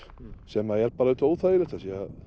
sem er bara auðvitað óþægilegt af því að